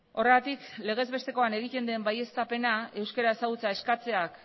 horregatik legez bestekoan egiten den baieztapena euskara ezagutzea eskatzeak